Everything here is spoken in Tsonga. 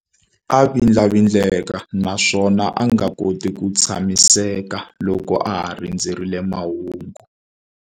A vindlavindleka naswona a nga koti ku tshamiseka loko a ha rindzerile mahungu.